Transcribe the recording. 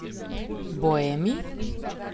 Boemi?